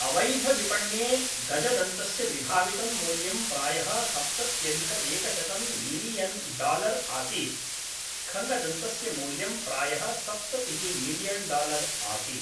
अवैधविपण्ये गजदन्तस्य विभावितं मूल्यं प्रायः सप्तत्यधिकएकशतं मिलीयन् डालर् आसीत् खङ्गदन्तस्य मूल्यं प्रायः सप्ततिः मिलीयन् डालर् आसीत्